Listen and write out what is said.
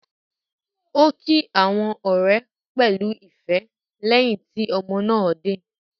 Ó kí àwọn ọ̀rẹ́ pẹ̀lú ìfẹ́ lẹ́yìn tí ọmọ náà dé.